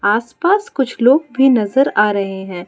आस पास कुछ लोग भी नजर आ रहे हैं।